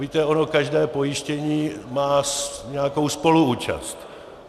Víte, ono každé pojištění má nějakou spoluúčast.